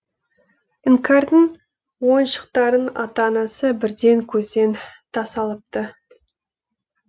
іңкәрдің ойыншықтарын ата анасы бірден көзден тасалапты